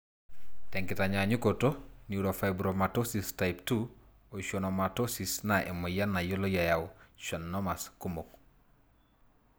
tenkinyanyukoto , neurofibromatosis type 2 oschwannomatosis na emoyian nayioloi eyau schwannomas kumok.